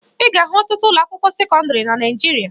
Ị ga-ahụ ọtụtụ ụlọakwụkwọ sekọndịrị na Naịjirịa